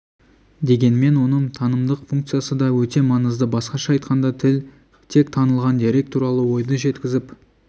дегенмен оның танымдық функциясы да өте маңызды басқаша айтқанда тіл тек танылған дерек туралы ойды жеткізіп